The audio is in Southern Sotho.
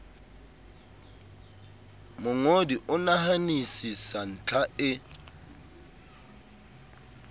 mongodi o nahanisisa ntlha e